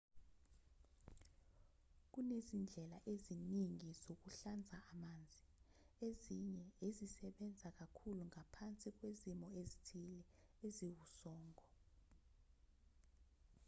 kunezindlela eziningi zokuhlanza amanzi ezinye ezisebenza kakhulu ngaphansi kwezimo ezithile eziwusongo